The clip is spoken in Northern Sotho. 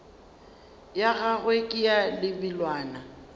ya gagwe ke ya lebelwana